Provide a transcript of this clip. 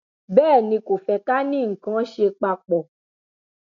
bẹẹ ni kò fẹ ká ní nǹkan án ṣe papọ